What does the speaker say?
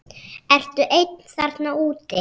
Ertu einn þarna úti?